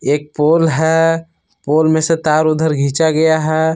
एक पोल है पोल में से तार उधर घिचा गया है।